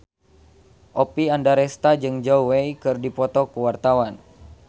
Oppie Andaresta jeung Zhao Wei keur dipoto ku wartawan